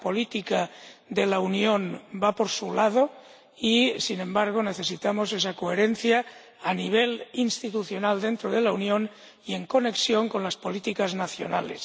Cada política de la Unión va por su lado y, sin embargo, necesitamos esa coherencia a nivel institucional dentro de la Unión y en conexión con las políticas nacionales.